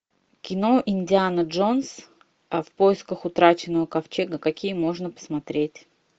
кино индиана джонс в поисках утраченного ковчега какие можно посмотреть